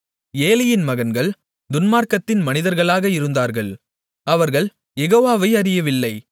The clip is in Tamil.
ஏலியின் மகன்கள் துன்மார்க்கத்தின் மனிதர்களாக இருந்தார்கள் அவர்கள் யெகோவாவை அறியவில்லை